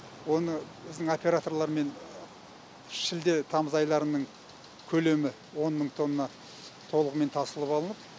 оны біздің операторлармен шілде тамыз айларының көлемі он мың тонна толығымен тасылып алынып